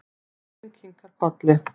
Dóttirin kinkar kolli.